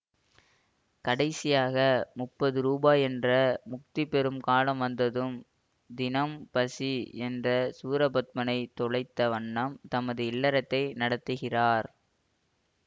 கடைசியாக முப்பது ரூபாயென்ற முக்தி பெறும் காலம் வந்ததும் தினம் பசி என்ற சூரபத்மனைத் தொலைத்த வண்ணம் தமது இல்லறத்தை நடத்துகிறார்